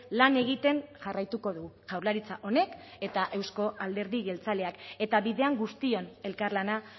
lan egiten jarraituko du jaurlaritza honek eta euzko alderdi jeltzaleak eta bidean guztion elkarlana